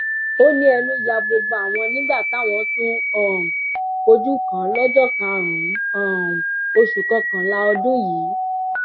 ó ní ẹnu ya gbogbo àwọn nígbà táwọn tún um fojú kàn án lọjọ karùnún um oṣù kọkànlá ọdún yìí